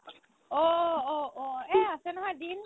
অ' অ' অ' এই আছে নহয় দিন